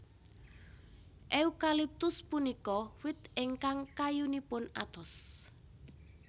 Eukaliptus punika wit ingkang kayunipun atos